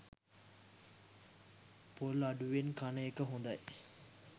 පොල් අඩුවෙන් කන එක හොඳයි.